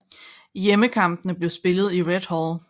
Hjemmekampene bliver spillet i Red Hall